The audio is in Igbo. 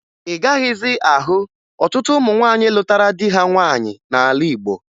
Ị gaghịzị ahụ ọtụtụ ụmụ nwaanyị lụtara di ha nwaanyị n'ala Igbo